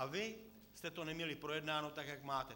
A vy jste to neměli projednáno tak, jak máte.